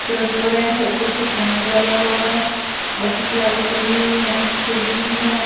Restaurant है ऊपर से फैन लगा हुआ है और कुछ लाइट्स लगी हुई है खिड़की भी है।